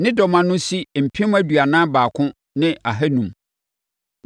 Ne dɔm ano si mpem aduanan baako ne ahanum (41,500).